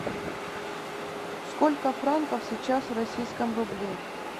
сколько франков сейчас в российском рубле